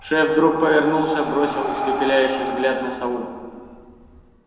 шеф вдруг повернулся бросил испепеляющий взгляд на сову